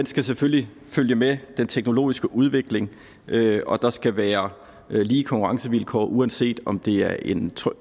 skal selvfølgelig følge med den teknologiske udvikling og der skal være lige konkurrencevilkår uanset om det er en